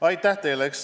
Aitäh teile!